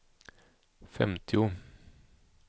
femtio